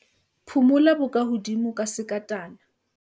phumula bokahodimo ka sekatana